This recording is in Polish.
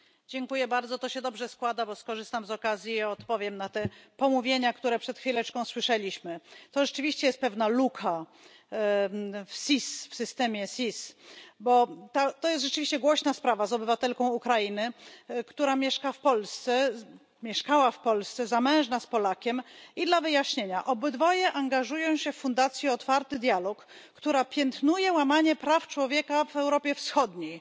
Panie Przewodniczący! Dziękuję bardzo, to się dobrze składa, bo skorzystam z okazji i odpowiem na te pomówienia, które przed chwileczką słyszeliśmy. To rzeczywiście jest pewna luka w systemie SIS, bo to jest rzeczywiście głośna sprawa z obywatelką Ukrainy, która mieszkała w Polsce, jest zamężna z Polakiem i dla wyjaśnienia obydwoje angażują się w fundacji Otwarty Dialog, która piętnuje łamanie praw człowieka w Europie Wschodniej.